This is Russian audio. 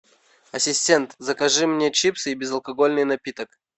ассистент закажи мне чипсы и безалкогольный напиток